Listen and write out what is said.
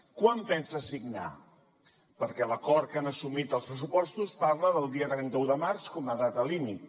quan pensa signar perquè l’acord que han assumit als pressupostos parla del dia trenta un de març com a data límit